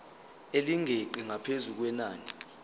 elingeqi ngaphezu kwenani